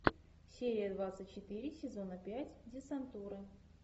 серия двадцать четыре сезона пять десантура